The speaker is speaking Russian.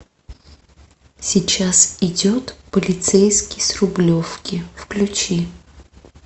сейчас идет полицейский с рублевки включи